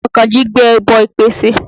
Àkànjí gbé ẹbọ ìpesè.